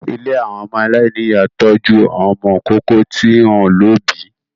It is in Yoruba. Ilé àwọn ọmọ aláìníyà ń tọ́jú àwọn ọmọ ìkókó tí wọ́n ò lóbìí